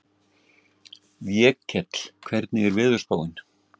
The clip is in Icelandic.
Vékell, hvernig er veðurspáin?